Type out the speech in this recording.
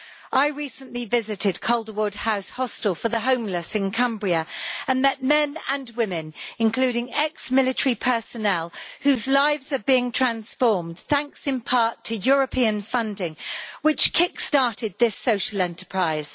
I recently visited Calderwood House hostel for the homeless in Cumbria and met men and women, including ex military personnel, whose lives are being transformed thanks in part to European funding which kick started this social enterprise.